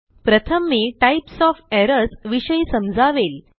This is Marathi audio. प्रथम मी टाइप्स ओएफ एरर्स विषयी समजावेल